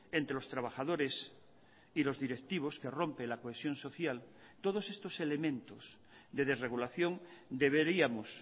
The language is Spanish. entre los trabajadores y los directivos que rompe la cohesión social todos estos elementos de desregulación deberíamos